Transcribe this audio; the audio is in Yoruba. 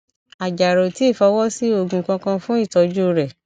àjàrà ò tíì fọwó sí oògùn kankan fún ìtọjú rè